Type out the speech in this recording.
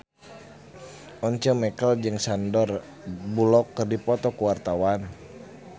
Once Mekel jeung Sandar Bullock keur dipoto ku wartawan